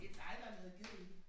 Det dig der har lavet ged i den